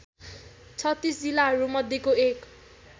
३६ जिल्लाहरूमध्येको एक